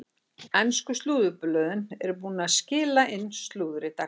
Ensku slúðurblöðin eru búin að skila inn slúðri dagsins.